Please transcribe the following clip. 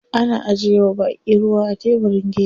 Ana ajiye wa baƙi ruwa a tebirin gefe.